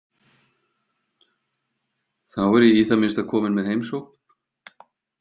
Þá er ég í það minnsta komin með heimsókn.